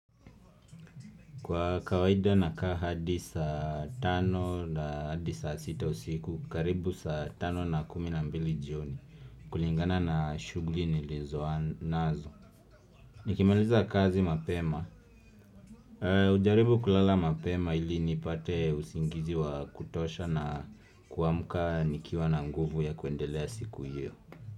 Kwa kawaida na kaa hadi saa tano na hadi saa sita usiku karibu saa tano na kumi na mbili jioni kulingana na shughuli nilizonazo Nikimaliza kazi mapema hujaribu kulala mapema ili nipate usingizi wa kutosha na kuamka nikiwa na nguvu ya kuendelea siku hiyo.